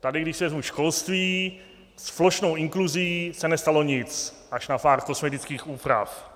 Tady, když si vezmu školství, s plošnou inkluzí se nestalo nic až na pár kosmetických úprav.